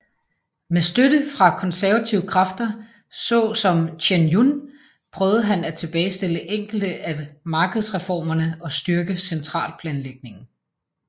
Med støtte fra konservative kræfter så som Chen Yun prøvede han at tilbagestille enkelte af markedsreformerne og styrke centralplanlægningen